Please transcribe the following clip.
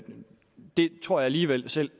tror alligevel at selv